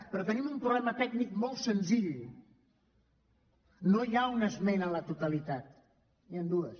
però tenim un problema tècnic molt senzill no hi ha una esmena a la totalitat n’hi han dues